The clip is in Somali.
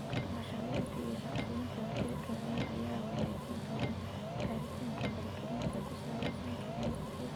Naqshadeynta iyo shaqsiyeynta wadajirka ah ayaa wanaajin doona gaaritaanka faragelinta ku saleysan tignoolajiyada.